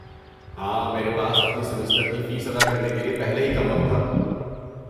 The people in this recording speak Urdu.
ہاں، میرے پاس اپنی سیمسٹر کی فیس ادا کرنے کے لیے پہلے ہی کم وقت تھا۔